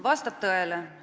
Vastab tõele.